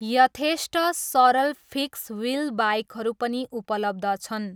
यथेष्ट सरल fix wheel बाइकहरू पनि उपलब्ध छन्।